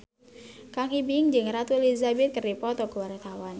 Kang Ibing jeung Ratu Elizabeth keur dipoto ku wartawan